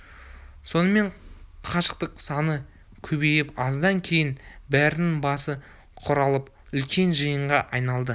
сонымен қашақтың саны көбейіп аздан кейін бәрінің басы құралып үлкен жиынға айналды